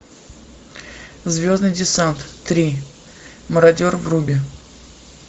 звездный десант три мародер вруби